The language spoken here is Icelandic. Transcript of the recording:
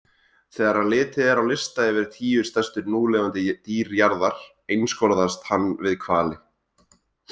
Þegar litið er á lista yfir tíu stærstu núlifandi dýr jarðar einskorðast hann við hvali.